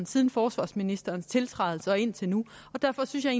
siden forsvarsministeren tiltrådte og indtil nu derfor synes jeg